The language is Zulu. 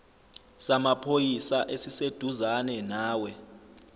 samaphoyisa esiseduzane nawe